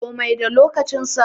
Komi da lokacin sa